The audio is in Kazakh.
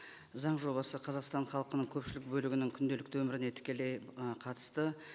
заң жобасы қазақстан халқының көпшілік бөлігінің күнделікті өміріне тікелей ы қатысты